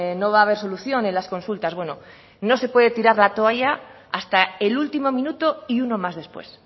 no va a haber solución en las consultas bueno no se puede tirar la toalla hasta el último minuto y uno más después